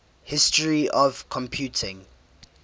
history of computing